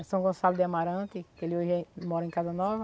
Em São Gonçalo de Amarante, que ele hoje mora em Casa nova.